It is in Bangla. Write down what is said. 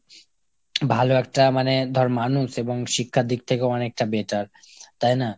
ভালো একটা মানে ধর মানুষ এবং শিক্ষার দিক থেকে অনেকটা better। তাই না ?